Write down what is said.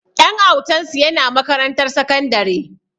Ɗan autansu yana makarantar sakandare